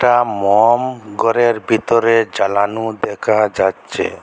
একটা মোম ঘরের ভিতর জ্বালানো দেখা যাচ্ছে।